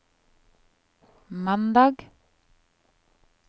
mandag